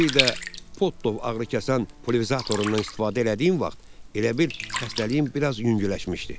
Bir də Podov ağrıkəsən puliverizatorundan istifadə elədiyim vaxt, elə bil xəstəliyim biraz yüngülləşmişdi.